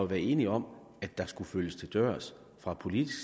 været enige om at der skulle følges til dørs fra politisk